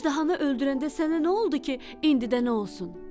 Əjdahanı öldürəndə sənə nə oldu ki, indi də nə olsun?